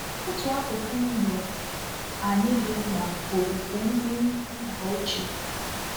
Otu akụkụ ndụ anyị dị mkpa bụ ofufe ndị nna ochie